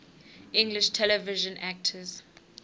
english television actors